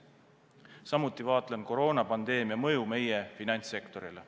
Samuti vaatlen koroonapandeemia mõju meie finantssektorile.